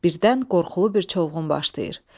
Birdən qorxulu bir çovğun başlayır.